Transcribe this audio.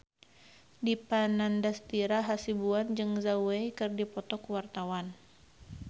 Dipa Nandastyra Hasibuan jeung Zhao Wei keur dipoto ku wartawan